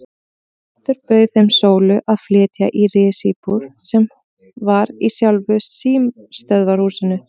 Oddur bauð þeim Sólu að flytja í risíbúð sem var í sjálfu símstöðvarhúsinu.